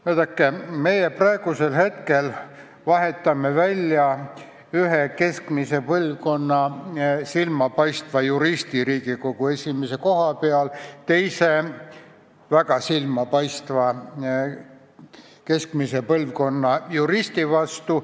Vaadake, praegu me vahetame välja ühe keskmise põlvkonna silmapaistva juristi Riigikohtu esimehe koha pealt teise keskmise põlvkonna väga silmapaistva juristi vastu.